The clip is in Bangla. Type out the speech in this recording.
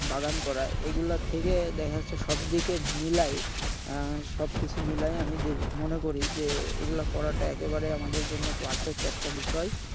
বাগান করা এগুলা থেকে দেখা যাচ্ছে সবদিকে মিলায়ে আহ সবকিছু মিলায়ে আমি মনে করি যে এগুলা করাটা একেবারে আমাদের জন্য perfect একটা বিষয়।